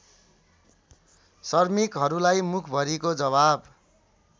श्रमिकहरूलाई मुखभरिको जवाब